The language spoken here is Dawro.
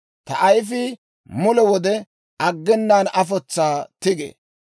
Ta ayifii mule wode aggenaan afotsaa tigee.